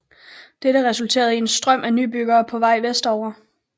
Dette resulterede i en strøm af nybyggere på vej vestover